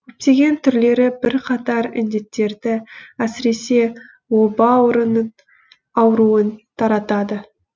көптеген түрлері бірқатар індеттерді әсіресе оба ауруын таратады